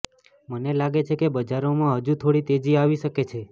મને લાગે છે કે બજારોમાં હજુ થોડી તેજી આવી શકે છે